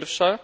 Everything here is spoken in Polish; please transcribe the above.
Pierwszy problem